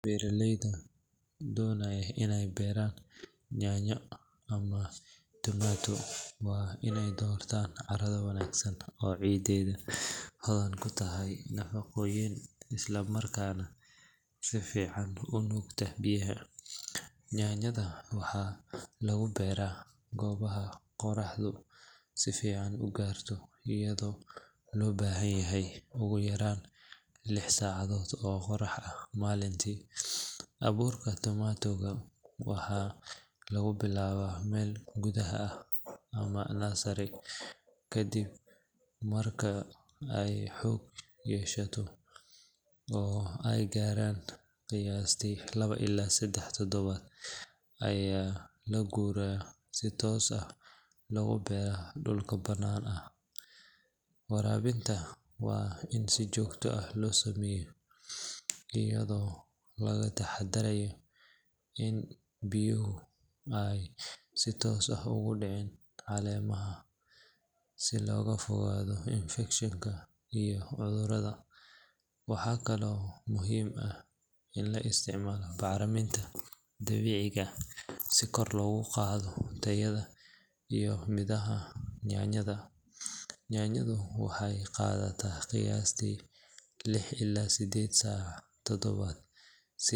Beeraleyda doonaya inay beeraan yaanyo ama tomato waa inay doortaan carrada wanaagsan oo ciiddeedu hodan ku tahay nafaqooyinka islamarkaana si fiican u nuugta biyaha. Yaanyada waxaa lagu beeraa goobaha qorraxdu si fiican u gaarto, iyadoo loo baahan yahay ugu yaraan lix saacadood oo qorrax ah maalintii. Abuurka tomato-ga waxaa lagu bilaabaa meel gudaha ah ama nursery, kadibna marka ay xoog yeeshaan oo ay gaaraan qiyaastii laba illaa saddex toddobaad ayaa la guuraa si toos ah loogu beero dhulka banaanka ah. Waraabinta waa in si joogto ah loo sameeyaa, iyadoo laga taxadarayo in biyaha aysan si toos ah ugu dhicin caleemaha si looga fogaado infekshan iyo cudur. Waxaa kaloo muhiim ah in la isticmaalo bacriminta dabiiciga ah si kor loogu qaado tayada iyo midhaha yaanyada. Yaanyadu waxay qaadataa qiyaastii lix illaa siddeed todobaad si.